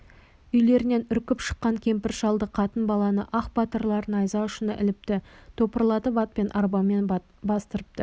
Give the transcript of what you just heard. үйлерінен үркіп шыққан кемпір-шалды қатын-баланы ақ батырлар найза ұшына іліпті топырлатып атпен арбамен бастырыпты